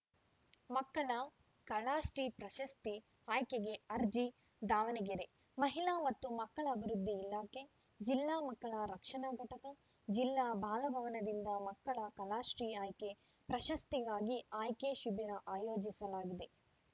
ಮಕ್ಕಳ ಕಲಾಶ್ರೀ ಪ್ರಶಸ್ತಿ ಆಯ್ಕೆಗೆ ಅರ್ಜಿ ದಾವಣಗೆರೆ ಮಹಿಳಾ ಮತ್ತು ಮಕ್ಕಳ ಅಭಿವೃದ್ಧಿ ಇಲಾಖೆಜಿಲ್ಲಾ ಮಕ್ಕಳ ರಕ್ಷಣಾ ಘಟಕ ಜಿಲ್ಲಾ ಬಾಲಭವನದಿಂದ ಮಕ್ಕಳ ಕಲಾಶ್ರೀ ಆಯ್ಕೆ ಪ್ರಶಸ್ತಿಗಾಗಿ ಆಯ್ಕೆ ಶಿಬಿರ ಆಯೋಜಿಸಲಾಗಿದೆ